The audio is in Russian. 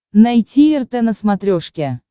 найти рт на смотрешке